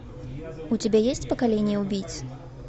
у тебя есть поколение убийц